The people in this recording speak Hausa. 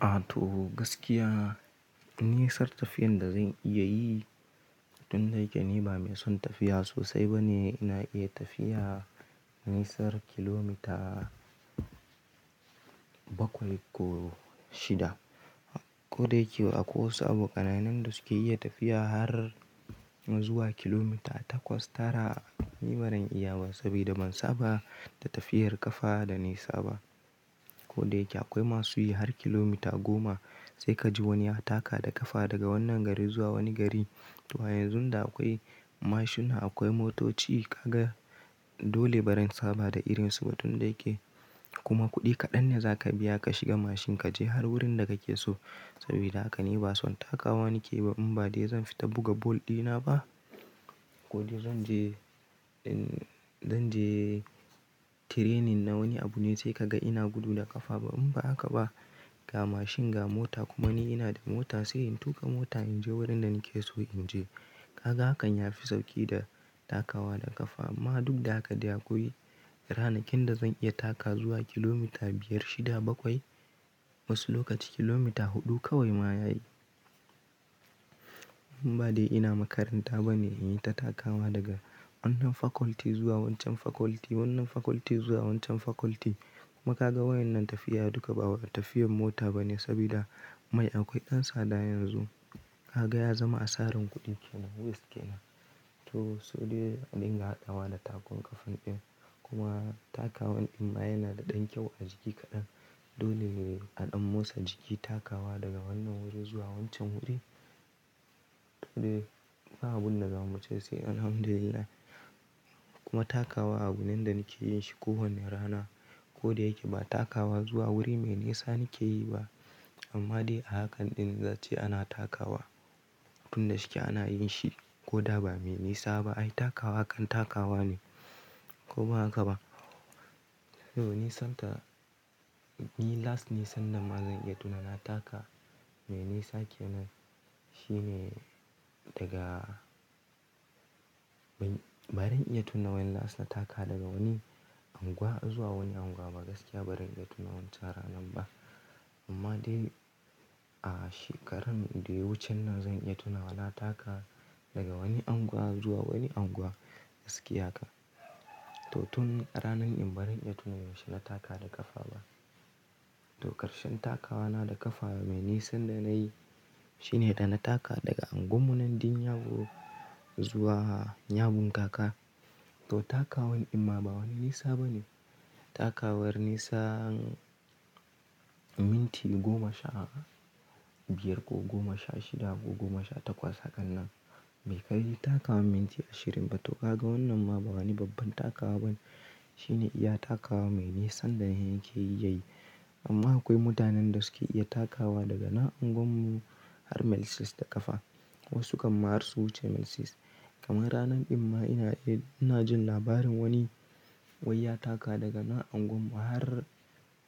A to gaskiya, nisar tafiyan da zan iya yi tun da yake ni ba mai son tafiya sosai ba ne, ina iya tafiya nisar kilomita bakwai ko shida. Ko da yake akwai wasu abokanai na da suke iya tafiya har zuwa kilomita takwas, tara ni barin iya ba, saboda ban saba da tafiyar ƙafa da nisa ba. Ko da yake akwai masu yi har kilomita goma, sai ka ji wani ya taka da ƙafa daga wannan gari zuwa wani gari. To a yanzun da akwai mashina, akwai motoci kaga dole baran saba da irin su ba tunda yake kuma kuɗi kaɗan ne za ka biya ka shiga mashin ka je har wurin da kake so. Sabida haka ni ba son takawa nake ba in ba dai zan fita buga ball dina ba. Ko dai zan je in zan je training na wani abu ne sai ka ga ina gudu da ƙafa ba in ba haka ba, ga mashin ga mota kuma ni ina da mota sai in tuƙa mota in je wurin da nake so in je. Kaga hakan yafi sauƙi da takawa da ƙafa, amma duk da haka dai akwai ranakin da zan iya taka wa zuwa kilomita biyar, shida, bakwai. Wasu lokaci kilomita huɗu kawai ma ya yi. In ba dai ina makaranta ba ne in yi ta takawa daga wannan faculty, zuwa wancan faculty, wannan faculty zuwa wancan faculty. Kuma ka ga waƴannan tafiya duka ba wata tafiyan mota ba ne, sabida mai, akwai ɗan tsada yanzu, kaga ya zama asarar kuɗi kenan yes kenan. To sedai a dinga haɗawa da takon ƙafan ɗin, kuma takawa ɗin ma yana da ɗan kyau a jiki kaɗan, dole a ɗan motsa jiki takawa daga wannan wuri zuwa wancan wuri. Dai ba abun da za mu ce sai Alhamdulillahi. Kuma takawa a bunen da nake yin shi kowane rana, ko da yake ba takawa zuwa wuri mai nisa nake yi ba. Amma dai a hakan ɗin zai ce ana takawa, tun da shike ana yin shi, ko da ba mai nisa ba ai takawa kan takawa ne, ko ba haka ba? To nisanta, ni last nisan nan ma zan iya tuna na taka, mai nisa kenan shine daga barin iya tuna when last na taka daga wani unguwa zuwa wani unguwa ba, gaskiya barin iya tuna wancan ranan ba. Amma dai a shekaran da yawucen nan zan iya tuna wa taka daga wani anguwa zuwa wani anguwa gaskiya kan. To tun a ranan in barin iya tuna yaushe na taka da ƙafa ba. To ƙarshen takawa na da ƙafa mai nisan da nayi, shine da na taka daga unguwannan din Nyago, zuwa Nyabunkaka. To takawan inma ba wani nisa ba ne, takawar nisan minti goma sha biyar, ko goma sha shida, ko goma sha takwas, hakan nan. Bai kai takawan minti ashirin ba to ka ga wannan ma ba wani babban takawa ba ne. Shine iya takawa mai nisan da nake iya yi, amma akwai mutanen da suke iya takawa daga na unguwar mu, har Mail Sis da ƙafa. Wasu kan ma har su wuce Mail Sis. Kamar ranan inma ina ina jin labarin wani wayya taka daga na unguwar mu har